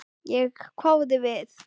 Ég hváði við.